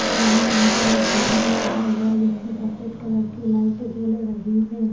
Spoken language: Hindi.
वह यहाँ पर एक झुमर टंगा हुआ है जिसमे सफेद कलर की लाइटे जल रही हैं।